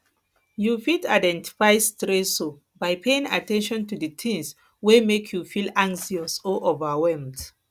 you fit identify stressors by paying at ten tion to di tings wey wey make you feel anxious or overwhelmed